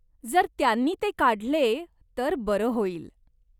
जर त्यांनी ते काढले तर बरं होईल.